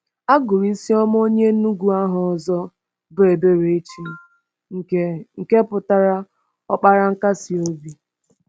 A gụrụ Isioma onye Enugu aha ọzọ bụ Eberechi, nke nke pụtara “Ọkpara Nkasi Obi.”